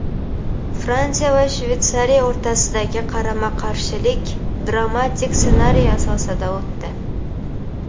Fransiya va Shveysariya o‘rtasidagi qarama-qarshilik dramatik ssenariy asosida o‘tdi.